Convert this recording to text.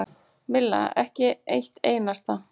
Milla: Ekki eitt einasta.